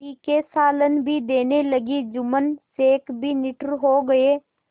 तीखे सालन भी देने लगी जुम्मन शेख भी निठुर हो गये